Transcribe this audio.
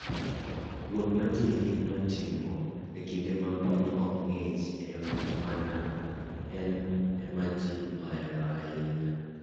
Wuoth ma ji hinyo timo e kinde ma piny ok ng'ich en ma ji ohero ahinya.